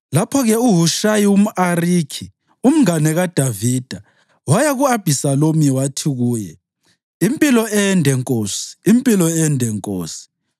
Lapho-ke uHushayi umʼArikhi, umngane kaDavida, waya ku-Abhisalomu wathi kuye, “Impilo ende nkosi! Impilo ende nkosi!”